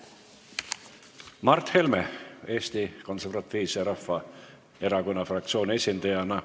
Mart Helme Eesti Konservatiivse Rahvaerakonna fraktsiooni esindajana.